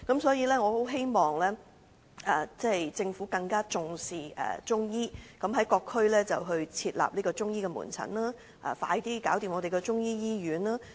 所以，我希望政府更重視中醫，在各區設立中醫門診，盡快完成興建中醫醫院。